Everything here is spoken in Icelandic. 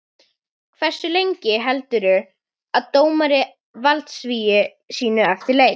Hversu lengi heldur dómari valdsviði sínu eftir leik?